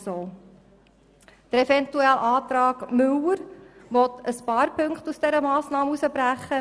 Der Eventualantrag Müller will ein paar Punkte aus dieser Massnahme brechen;